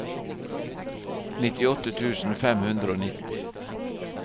nittiåtte tusen fem hundre og nitti